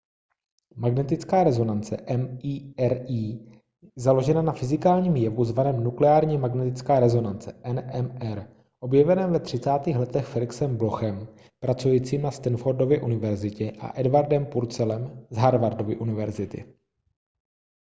magnetická rezonance mri je založena na fyzikálním jevu zvaném nukleární magnetická rezonance nmr objeveném ve 30. letech felixem blochem pracujícím na stanfordově univerzitě a edwardem purcellem z harvardovy univerzity